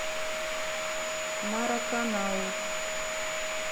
мараканау